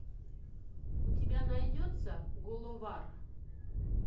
у тебя найдется головар